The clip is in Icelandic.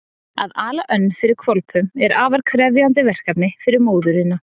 Að ala önn fyrir hvolpum er afar krefjandi verkefni fyrir móðurina.